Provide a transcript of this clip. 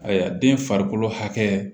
Ayiwa den farikolo hakɛ